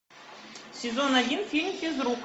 сезон один фильм физрук